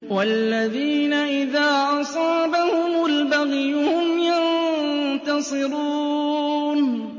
وَالَّذِينَ إِذَا أَصَابَهُمُ الْبَغْيُ هُمْ يَنتَصِرُونَ